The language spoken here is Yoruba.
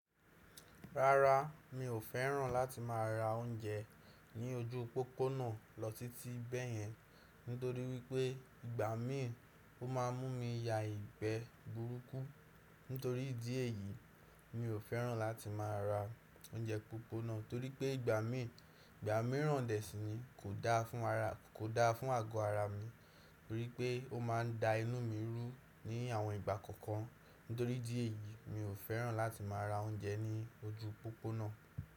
Rárá, mi ò fẹ́ràn láti má ra óúnjẹ ní ojú u pópónà lọ tití bẹ̀yẹn nítorí wípé ìgbà míì ó ma mú mi ya ìgbẹ́ burúkú. Nítorí ìdí èyí, mi ò fẹ́ràn láti má ra óúnjẹ pópónà torípé ìgbà míì, ìgbà míì rán dẹ̀sínì kò da fún ara, kò da fún àgọ́ ara mi torípé ó ma n da inú mi rú ní àwọn ìgbà kankan. Nítorí ìdí èyí, mi ò fẹ́ràn láti má ra óúnjẹ ní ojú pópónà.